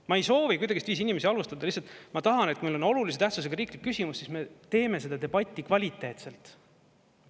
Ma ei soovi kuidagiviisi inimesi halvustada, lihtsalt ma tahan, et kui meil on olulise tähtsusega riiklik küsimus, siis me teeme seda debatti kvaliteetselt.